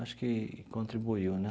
Acho que contribuiu, né?